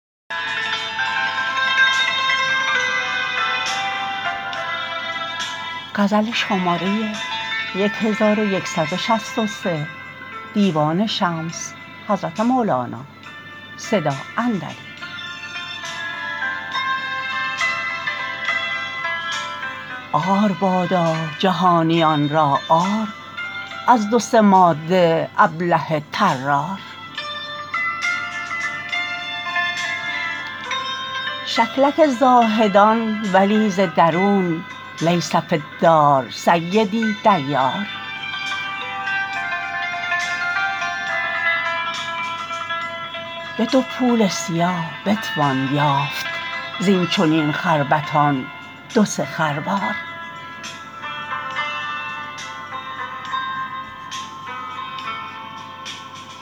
عار بادا جهانیان را عار از دو سه ماده ابله طرار شکلک زاهدان ولی ز درون لیس فی الدار سیدی دیار به دو پول سیاه بتوان یافت زین چنین خربطان دو سه خروار